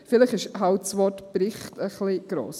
Vielleicht ist eben das Wort «Bericht» dafür etwas gross.